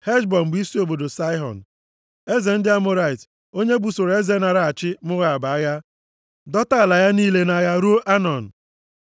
Heshbọn bụ isi obodo Saịhọn, eze ndị Amọrait onye busoro eze naara achị Moab agha dọta ala ya niile nʼagha ruo Anọn.